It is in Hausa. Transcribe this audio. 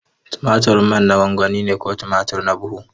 Tumatir manna gwangwani ne ko tumatur na buhu.